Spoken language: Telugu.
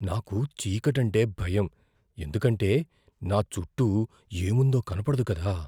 నాకు చీకటంటే భయం ఎందుకంటే నా చుట్టూ ఏముందో కనపడదు కదా.